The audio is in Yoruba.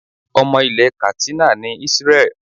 Ọmọ ilẹ̀ Katsina ni Israel.